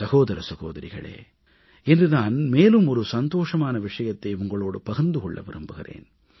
சகோதர சகோதரிகளே இன்று நான் மேலும் சந்தோஷமான விஷயத்தை உங்களோடு பகிர்ந்து கொள்ள விரும்புகிறேன்